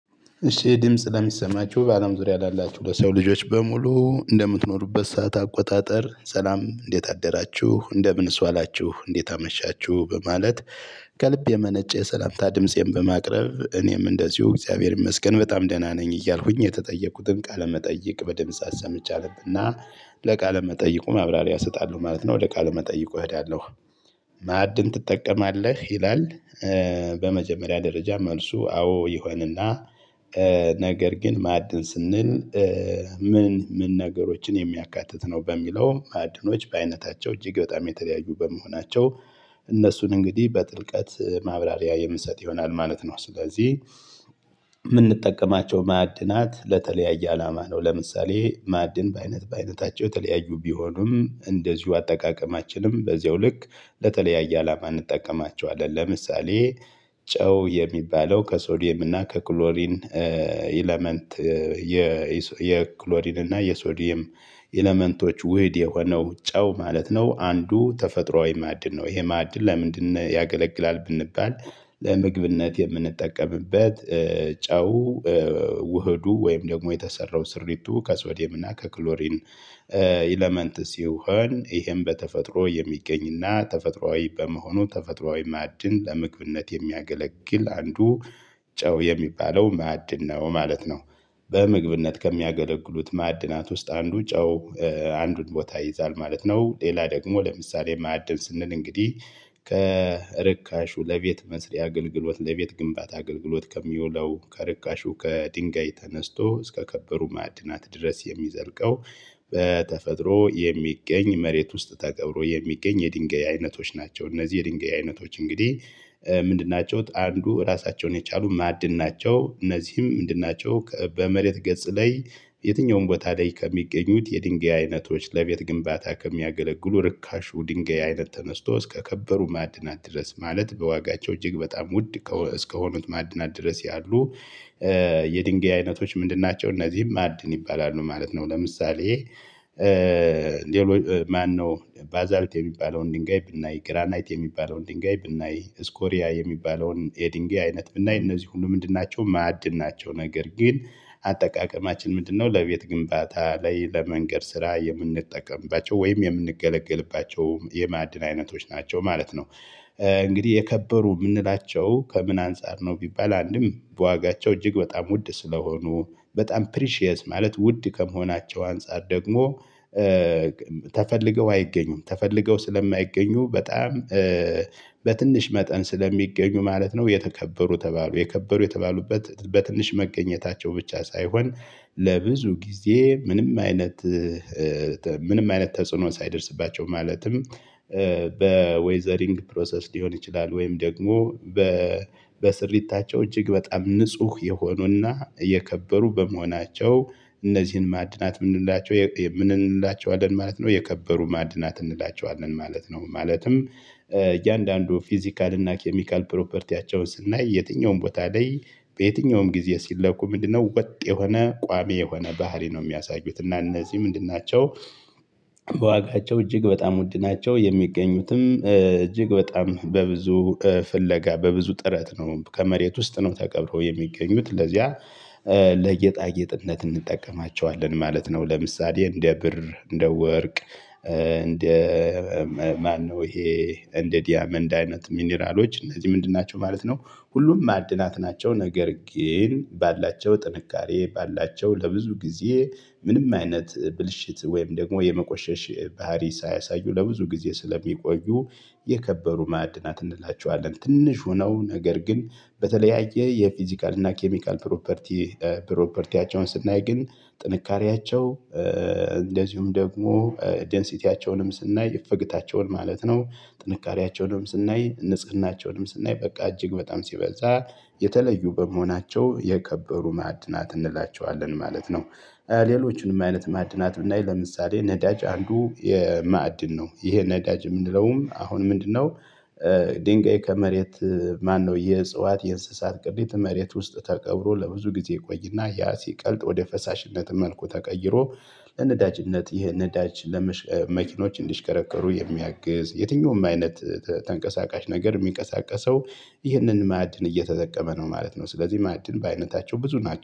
እሺ ይህ ድምጽ ለሚሰማችሁ በአለም ዙሪያ ላላችሁ ለሰው ልጆች በሙሉ እንደምትኖሩበት ሰዓት አቆጣጠር ሰላም እንዴት አደራችሁ እንደምንስ ዋላችሁ እንዴት አመሻችሁ በማለት። ከልብ የመነጨ የሰላምታ ድምፄን በማቅረብ እኔም እንደዚሁ እግዚአብሔር ይመስገን በጣም ደህና ነኝ እያልኩኝ የተጠየቁትን ቃለመጠየቅ በድምጽ አሰምየ አነብና ለቃለ መጠይቁ ማብራሪያ እሰጣለሁ ማለት ነው ወደ ቃለ መጠይቁ እሄዳለሁ። ማዕድን ትጠቀማለህ ይላል? በመጀመሪያ ደረጃ መልሱ አዎ ይሆንና። ነገር ግን ማዕድን ስንል ምን ምን ነገሮችን የሚያካትት ነው? በሚለው ማዕድኖች በአይነታቸው እጅግ በጣም የተለያዩ በመሆናቸው እነሱን እንግዲህ በጥልቀት ማብራሪያ የምሰጥ ይሆናል ማለት ነው። ስለዚህ የምንጠቀማቸው ማዕድናት ለተለያየ አላማ ነው። ለምሳሌ ማዕድን በአይነት በአይነታቸው የተለያዩ ቢሆኑም እንደዚሁ አጠቃቀማችንም በዚያው ልክ ለተለያየ አላማ እንጠቀማቸዋለን። ለምሳሌ ጨው የሚባለው ከሶዲየም እና ከክሎሪን ኤለመንት የ የክሎሪን እና የሶዲየም ኤለመንቶች ውህድ የሆነው ጨው ማለት ነው። አንዱ ተፈጥሮአዊ ማዕድን ነው። ይሄ ማዕድን ለምንድነው ያገለግላል ብንባል? ለምግብነት የምንጠቀምበት ጨው። ውህዱ ወይም ደግሞ የተሰራው ስሪቱ ከስዌድየም እና ከክሎሪን ኤለመንት ሲሆን ይሄም በተፈጥሮ የሚገኝና ተፈጥሮአዊ በመሆኑ ተፈጥሮአዊ ማዕድን ለምግብነት የሚያገለግል አንዱ ጨው የሚባለው ማዕድን ነው ማለት ነው። በምግብነት ከሚያገለግሉት ማዕድናት ውስጥ አንዱ ጨው አንዱን ቦታ ይይዛል ማለት ነው። ሌላ ደግሞ ለምሳሌ ማዕድን ስንል እንግዲህ ከርካሹ ለቤት መስሪ አገልግሎት ለቤት ግንባታ አገልግሎት ከሚውለው ከርካሹ ከድንጋይ ተነስቶ እስከ ከበሩ ማዕድናት ድረስ የሚዘርቀው። በተፈጥሮ የሚገኝ መሬት ውስጥ ተቀብሮ የሚገኝ የድንጋይ አይነቶች ናቸው። እነዚህ የድንጋይ አይነቶች እንግዲህ ምንድን ናቸው? አንዱ ራሳቸውን የቻሉ ማዕድን ናቸው። እነዚህም ምንድን ናቸው? በመሬት ገጽ ላይ የትኛውም ቦታ ላይ ከሚገኙት የድንጋይ አይነቶች ለቤት ግንባታ ከሚያገለግሉ ርካሹ ድንጋይ አይነት ተነስቶ እስከከበሩ ማዕድናት ድረስ ማለት በዋጋቸው እጅግ በጣም ውድ እስከሆኑት ማዕድናት ድረስ ያሉ? የድንጋይ አይነቶች ምንድን ናቸው እነዚህም ማዕድን ይባላሉ ማለት ነው። ለምሳሌ ሌሎች ማነው? ባዛልት የሚባለውን ድንጋይ ብናይ ግራናይት የሚባለውን ድንጋይ ብናይ እስኮሪያ የሚባለውን የድንጋይ አይነት ብናይ እነዚህ ሁሉ ምንድን ናቸው ማዕድን ናቸው። ነገር ግን አጠቃቀማችን ምንድነው? ለቤት ግንባታ ላይ ለመንገድ ስራ የምንጠቀምባቸው ወይም የምንገለግልባቸው የማዕድን አይነቶች ናቸው ማለት ነው። እንግዲህ የከበሩ የምንላቸው ከምን አንፃር ነው ቢባል አንድም በዋጋቸው እጅግ በጣም ውድ ስለሆኑ በጣም ፕሪሺየስ ማለት ውድ ከመሆናቸው አንፃር ደግሞ ተፈልገው አይገኙም ተፈልገው ስለማይገኙ በጣም በትንሽ መጠን ስለሚገኙ ማለት ነው። የተከበሩ ተባሉ የከበሩ የተባሉበት በትንሽ መገኘታቸው ብቻ ሳይሆን ለብዙ ጊዜ ምንም አይነት ምንም አይነት ተጽዕኖ ሳይደርስባቸው ማለትም በዌዘሪንግ ፕሮሰስ ሊሆን ይችላል ወይም ደግሞ በስርይታቸው እጅግ በጣም ንጹህ የሆኑና የከበሩ በመሆናቸው እነዚህን ማዕድናት የምንላቸው ምን እንላቸዋለን ማለት ነው። የከበሩ ማዕድናት እንላቸዋለን ማለት ነው። ማለትም እያንዳንዱ ፊዚካል እና ኬሚካል ፕሮፐርቲያቸውን ስናይ የትኛውም ቦታ ላይ በየትኛውም ጊዜ ሲለኩ ምንድነው ወጥ የሆነ ቋሚ የሆነ ባህሪ ነው። የሚያሳዩት እና እነዚህ ምንድን ናቸው? በዋጋቸው እጅግ በጣም ውድ ናቸው የሚገኙትም እጅግ በጣም በብዙ ፍለጋ በብዙ ጥረት ነው ከመሬት ውስጥ ነው ተቀብሮ የሚገኙት ለዚያ ለጌጣጌጥነት እንጠቀማቸዋለን ማለት ነው። ለምሳሌ እንደ ብር እንደ ወርቅ እንደ ማነው ይሄ እንደ ዲያመንድ አይነት ሚኒራሎች እነዚህ ምንድን ናቸው ማለት ነው። ሁሉም ማዕድናት ናቸው። ነገር ግን ባላቸው ጥንካሬ ባላቸው ለብዙ ጊዜ ምንም አይነት ብልሽት ወይም ደግሞ የመቆሸሽ ባህሪ ሳያሳዩ ለብዙ ጊዜ ስለሚቆዩ የከበሩ ማዕድናት እንላቸዋለን። ትንሽ ሆነው ነገር ግን በተለያየ የፊዚካል እና ኬሚካል ፕሮፐርቲ ፕሮፐርቲያቸውን ስናይ ግን ጥንካሬያቸው እንደዚሁም ደግሞ ዴንሲቲያቸውንም ስናይ እፈግታቸውን ማለት ነው ጥንካሬያቸውንም ስናይ ንጽህናቸውንም ስናይ በቃ እጅግ በጣም ሲበዛ የተለዩ በመሆናቸው የከበሩ ማዕድናት እንላቸዋለን ማለት ነው። ሌሎችንም አይነት ማዕድናት ብናይ ለምሳሌ ነዳጅ አንዱ የማዕድን ነው። ይሄ ነዳጅ የምንለውም አሁን ምንድነው? ድንጋይ ከመሬት ማነው የእጽዋት የእንስሳት ቅሬት መሬት ውስጥ ተቀብሮ ለብዙ ጊዜ ይቆይና ያ ሲቀልጥ ወደ ፈሳሽነት መልኩ ተቀይሮ። ለነዳጅነት ይህ ነዳጅ ለመኪኖች እንዲሽከረከሩ የሚያግዝ የትኛውም አይነት ተንቀሳቃሽ ነገር የሚንቀሳቀሰው ይህንን ማዕድን እየተጠቀመ ነው ማለት ነው። ስለዚህ ማዕድን በአይነታቸው ብዙ ናቸው